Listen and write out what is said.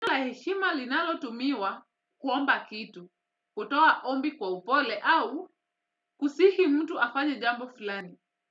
La heshima linalo tumiwa kuomba kitu, kutoa ombi kwa upole au kusihi mtu afanye jambo fulani.